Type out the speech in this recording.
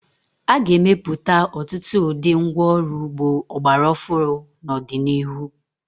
A ga-emepụta ọtụtụ ụdị ngwá ọrụ ugbo ọgbara ọfụụ n'ọdịnihu.